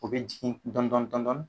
U bɛ jigi dɔɔnin dɔɔnin